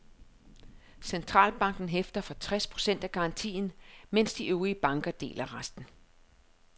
Centralbanken hæfter for tres procent af garantien, mens de øvrige banker deler resten.